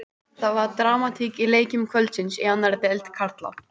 Það var dramatík í leikjum kvöldsins í annarri deild karla.